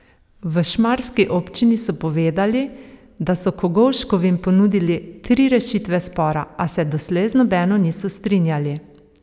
V šmarski občini so povedali, da so Kogovškovim ponudili tri rešitve spora, a se doslej z nobeno niso strinjali.